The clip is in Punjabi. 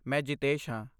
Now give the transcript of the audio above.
ਮੈਂ ਜਿਤੇਸ਼ ਹਾਂ।